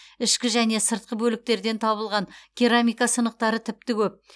ішкі және сыртқы бөліктерден табылған керамика сынықтары тіпті көп